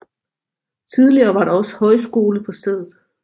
Tidligere var der også højskole på stedet